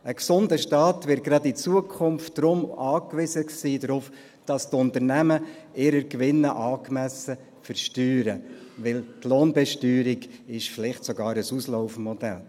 Ein gesunder Staat wird gerade in Zukunft darauf angewiesen sein, dass die Unternehmen ihre Gewinne angemessen versteuern, weil die Lohnbesteuerung vielleicht sogar ein Auslaufmodell ist.